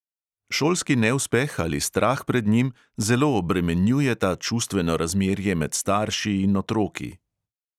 Šolski neuspeh ali strah pred njim zelo obremenjujeta čustveno razmerje med starši in otroki.